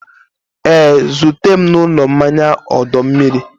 Ee, zute m n'ụlọ mmanya ọdọ mmiri.